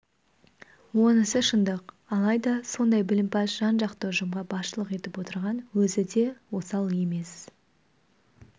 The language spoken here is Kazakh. онысы шындық алайда сондай білімпаз жан-жақты ұжымға басшылық етіп отырған өзі де осал емес